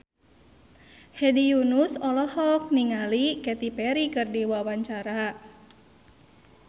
Hedi Yunus olohok ningali Katy Perry keur diwawancara